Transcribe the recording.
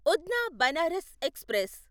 Udhna Banaras express